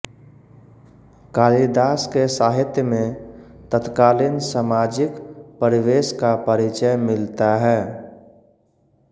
कालिदास के साहित्य में तत्कालीन सामाजिक परिवेस का परिचय मिलता है